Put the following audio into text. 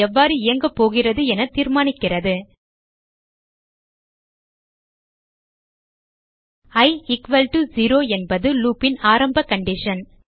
loop எவ்வாறு இயங்கபோகிறது என தீர்மானிக்கிறது இ 0 என்பது loop ன் ஆரம்ப கண்டிஷன்